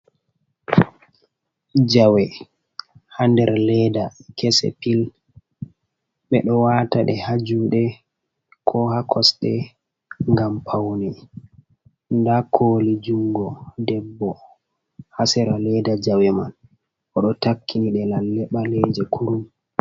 Jawe ha nder leeda kese pil, ɓe ɗo wata ɗe ha jude ko ha kosɗe ngam paune. Nda koli jungo debbo ha sera leeda jawe man, o ɗo takkini ɗe lalle ɓaleje kurum.